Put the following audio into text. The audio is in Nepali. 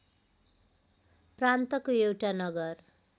प्रान्तको एउटा नगर